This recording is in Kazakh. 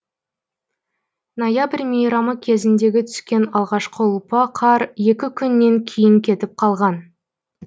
ноябрь мейрамы кезіндегі түскен алғашқы ұлпа қар екі күннен кейін кетіп қалған